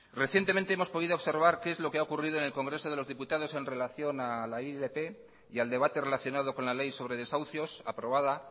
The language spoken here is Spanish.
recientemente hemos podido observar qué es lo que ha ocurrido en el congreso de los diputados en relación a la ilp y al debate relacionado con la ley sobre desahucios aprobada